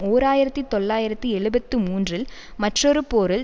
ஓர் ஆயிரத்தி தொள்ளாயிரத்தி எழுபத்து மூன்றில் மற்றொரு போரில்